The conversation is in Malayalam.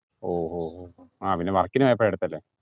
ഓ ഓഹ് ആ പിന്നാ work നു പോയപ്പാ എടുത്തല്ലേ